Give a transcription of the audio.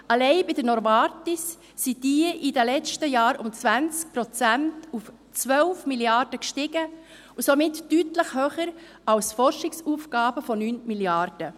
Allein bei Novartis sind diese um 20 Prozent auf 12 Mrd. Franken gestiegen und somit deutlich höher als die Forschungsausgaben von 9 Mrd. Franken.